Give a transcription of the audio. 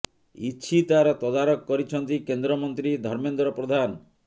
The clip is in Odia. ଇଛି ତାର ତଦାରଖ କରିଛନ୍ତି କେନ୍ଦ୍ର ମନ୍ତ୍ରୀ ଧମେନ୍ଦ୍ର ପ୍ରଧାନ